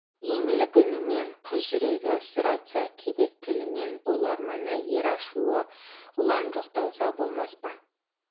еңлік үнімен қыз жүрегі сыр айтса кебек тілімен ұл арманы ер ашуы ұлан жоқталса болмас па